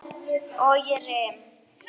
Og ég rym.